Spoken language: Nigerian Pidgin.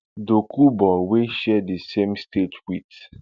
dokubo wey share di same state wit